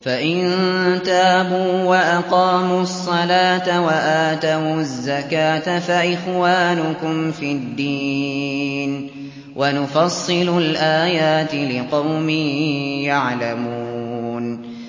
فَإِن تَابُوا وَأَقَامُوا الصَّلَاةَ وَآتَوُا الزَّكَاةَ فَإِخْوَانُكُمْ فِي الدِّينِ ۗ وَنُفَصِّلُ الْآيَاتِ لِقَوْمٍ يَعْلَمُونَ